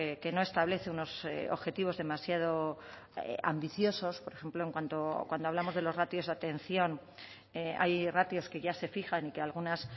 que no establece unos objetivos demasiado ambiciosos por ejemplo cuando hablamos de los ratios de atención hay ratios que ya se fijan y que algunas